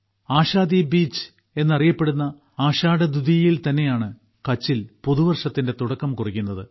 ആഷാധിബീജ് എന്നറിയപ്പെടുന്ന ആഷാഢദ്വിതീയയിൽ തന്നെയാണ് കച്ചിൽ പുതുവർഷത്തിന്റെ തുടക്കം കുറിക്കുന്നത്